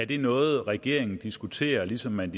det noget regeringen diskuterer ligesom man